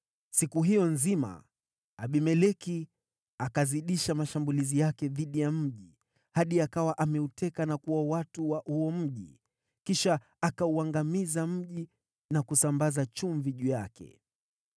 Siku hiyo nzima Abimeleki akazidisha mashambulizi yake dhidi ya mji hadi akawa ameuteka na kuwaua watu wa huo mji. Kisha akauangamiza mji na kusambaza chumvi juu yake.